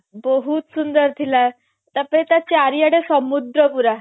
ବହୁତ ସୁନ୍ଦର ଥିଲା ତାପରେ ତା ଚାରିଆଡେ ସମୁଦ୍ର ପୁରା